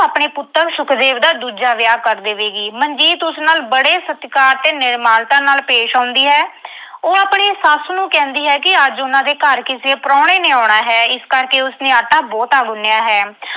ਆਪਣੇ ਪੁੱਤਰ ਸੁਖਦੇਵ ਦਾ ਦੂਜਾ ਵਿਆਹ ਕਰ ਦੇਵੇਗੀ। ਮਨਜੀਤ ਉਸ ਨਾਲ ਬੜੇ ਸਤਿਕਾਰ ਤੇ ਨਿਮਰਤਾ ਨਾਲ ਪੇਸ਼ ਆਉਂਦੀ ਹੈ। ਉਹ ਆਪਣੀ ਸੱਸ ਨੂੰ ਕਹਿੰਦੀ ਹੈ ਕਿ ਅੱਜ ਉਨ੍ਹਾਂ ਦੇ ਘਰ ਕਿਸੇ ਪ੍ਰਾਹੁਣੇ ਨੇ ਆਉਣਾ ਹੈ। ਇਸ ਕਰਕੇ ਉਸਨੇ ਆਟਾ ਬਹੁਤਾ ਗੁੰਨ੍ਹਿਆ ਹੈ।